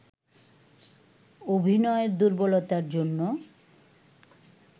অভিনয়ের দুর্বলতার জন্য